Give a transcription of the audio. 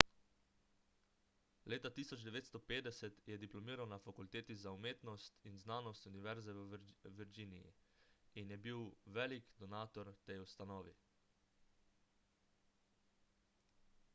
leta 1950 je diplomiral na fakulteti za umetnost in znanost univerze v virginiji in je bil velik donator tej ustanovi